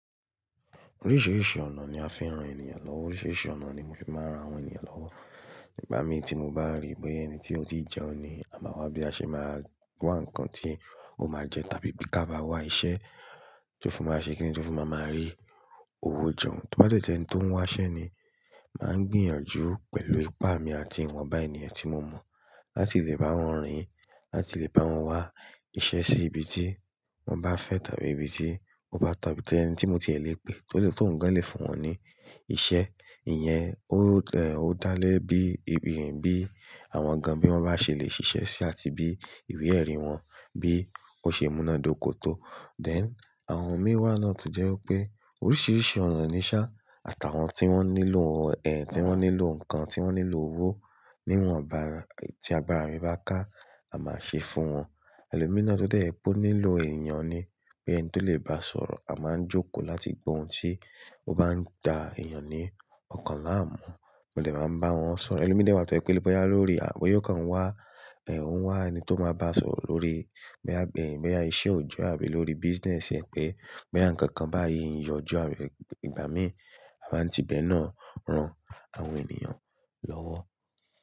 Oríṣiríṣi ọ̀nà ni a fi ń ran ènìyàn lọ́wọ́. Oríṣiríṣi ọ̀nà ni mo fi máa ń ran àwọn ènìyàn lọ́wọ́. Ìgbà mí tí mo bá rí pé ẹni tí ó ti jẹun ni àmọ́ wá bí a ṣe máa wá nǹkan tí ó máa jẹ tàbí bí ká bá wá iṣẹ́ tí ó fi máa ṣe kí nítorí tó fi máa máa rí òwò jọ, tó bá dẹ̀ jẹ́ ẹni tó ń wá iṣẹ́ ni máa gbìyànjú pẹ̀lú ipá mi àti ìwọ̀n ba ènìyàn tí mo mọ̀ láti lè bá wọn rìn-ín, láti lè bá wọn wá iṣẹ́ sí ibi tí wọ́n bá fẹ́ tàbí ibi tí ó bá tọ̀ tàbí ẹni tí mo ti ẹ̀ lè pè, tó lè tó ǹ gan lè fún wọn ní iṣẹ́. Ìyẹn ó dá lé bí ibi bí àwọn gan bí wọ́n bá ṣe lè ṣiṣẹ́ sí àti bí ìwé ẹ̀rí wọn bí ó ṣe múná dóko tó. Then àwọn mi wá náà tó jẹ́ wípé oríṣiríṣi ọ̀nà ni ṣá, àtàwọn tí wọ́n nílò ẹ̀, tí wọ́n nílò ǹkan, tí wọ́n nílò owó níwọ̀n ba ti agbára mi bá ká, màá ṣé fún wọn. Ẹlòmíràn tọ́ dẹ̀ jẹ́ wí pé ó nílò èèyàn ni pé ẹni tí ó lè bá sọ̀rọ̀, a máa ń jókòó láti gbọ ohun tí ó bá ń dá èèyàn ní ọ̀kan láàmú. Mo dẹ̀ máa ń bá wọn sọ̀rọ̀. Ẹlòmíràn dẹ̀ tó jẹ́ pé bóyá lórí, bóyá ó kàn ń wá, ó ń wá ẹni tó máa bá sọ̀rọ̀ lórí, bóyá iṣẹ́ òjọ́ àbí lórí business pé bóyá ǹkankan báyìí ń yọjú, àbí ìgbà míì a máa ń tíbẹ̀ náà ran àwọn ènìyàn lọ́wọ́.